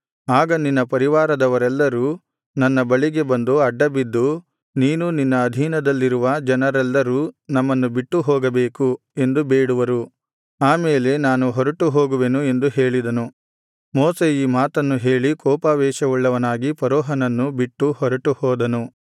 ಆಗ ನಿನ್ನ ಪರಿವಾರದವರೆಲ್ಲರೂ ನನ್ನ ಬಳಿಗೆ ಬಂದು ಅಡ್ಡಬಿದ್ದು ನೀನೂ ನಿನ್ನ ಅಧೀನದಲ್ಲಿರುವ ಜನರೆಲ್ಲರೂ ನಮ್ಮನ್ನು ಬಿಟ್ಟು ಹೋಗಬೇಕು ಎಂದು ಬೇಡುವರು ಆ ಮೇಲೆ ನಾನು ಹೊರಟುಹೋಗುವೆನು ಎಂದು ಹೇಳಿದನು ಮೋಶೆ ಈ ಮಾತನ್ನು ಹೇಳಿ ಕೋಪಾವೇಶವುಳ್ಳವನಾಗಿ ಫರೋಹನನ್ನು ಬಿಟ್ಟು ಹೊರಟುಹೋದನು